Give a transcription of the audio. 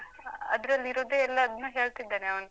ಅದ್ರಲ್ಲಿರುದೇ ಎಲ್ಲಾದ್ನೂ ಹೇಳ್ತಿದ್ದಾನೆ ಅವ್ನು.